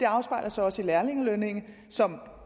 afspejles så også i lærlingelønningerne som